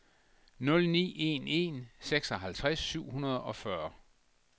nul ni en en seksoghalvtreds syv hundrede og fyrre